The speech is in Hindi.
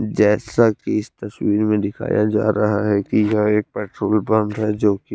जैसा की इस तस्वीर में दिखाया जा रहा है कि यह एक पेट्रोल पंप है जो की --